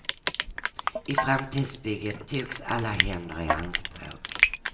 I framtidsbygget togs alla händer i anspråk.